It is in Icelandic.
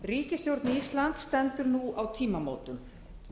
ríkisstjórn íslands stendur nú á tímamótum